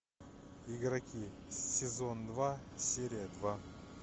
игроки сезон два серия два